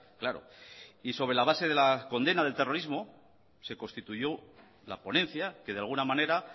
claro y sobre la base de la condena del terrorismo se constituyó la ponencia que de alguna manera